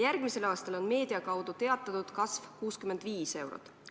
Meedia kaudu on teatatud, et järgmisel aastal on kasv 65 eurot.